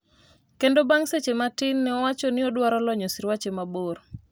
kendo bang' seche matin ne owacho ni odwaro lonyo sirwache mabor